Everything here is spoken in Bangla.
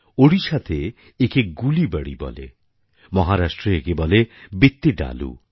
ওড়িশাতে একে গুলিবাড়ি বলে মহারাষ্ট্রে একে বলে বিত্তিডালু